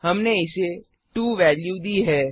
हमने इसे 2 वेल्यू दी है